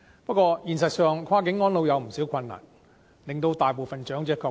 不過，現實上，跨境安老有不少困難，令大部分長者卻步。